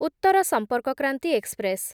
Uttar Sampark Kranti express